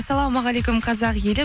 ассалаумағалейкум қазақ елі